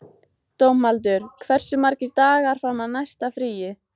Dómaldur, hversu margir dagar fram að næsta fríi?